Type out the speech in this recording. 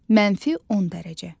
mənfi 10 dərəcə.